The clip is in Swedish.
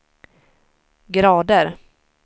grader